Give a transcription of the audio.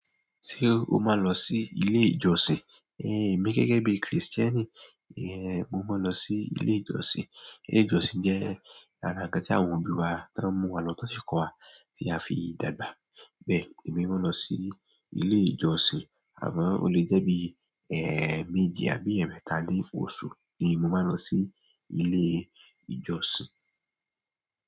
Ṣé o máa ń lọ sí ilé ìjọsìn? Ehn, èmi gẹ́gẹ́ bí Kristẹni, ehn, mo máa ń lọ sí ilé ìjọsìn. Ilé ìjọsìn jẹ́ ara ńnkan tí àwọn òbí wa ti ń mú wa lọ tan ṣi kọ́ wa tí a fi dàgbà. Bẹ́ẹ̀ èmi máa ń lọ sí ilé ìjọsìn. Àmọ o lè jẹ́ bí, ẹẹméji àbí ẹ̀ẹ̀mẹta ni òṣù ni mo máa ń lọ sí ilé ìjọsìn.